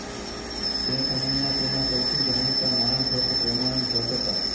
તે સમયના તેના સૌથી જાણીતા માણભટ્ટ પ્રેમાનંદ ભટ્ટ હતા